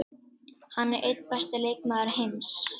Hann er einn besti leikmaður heims.